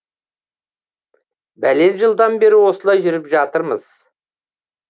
бәлен жылдан бері осылай жүріп жатырмыз